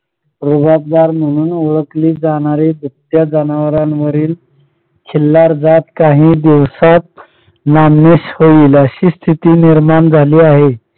रुबाबदार म्हणून ओळखले जाणारे दुभत्या जनावरांवरील खिल्लार जात काही दिवसात नामशेष होईल अशी स्थिती निर्माण झाली आहे.